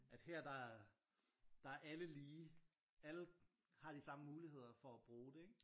At her der der er alle lige alle har de samme muligheder for at bruge det ikke?